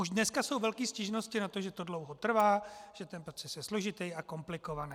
Už dneska jsou velké stížnosti na to, že to dlouho trvá, že ten proces je složitý a komplikovaný.